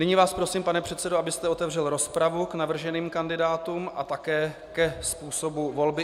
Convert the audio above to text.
Nyní vás prosím, pane předsedo, abyste otevřel rozpravu k navrženým kandidátům a také ke způsobu volby.